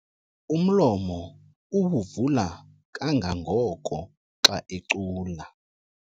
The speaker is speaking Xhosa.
Umlomo uwuvula kangangoko xa ecula.